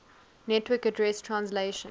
network address translation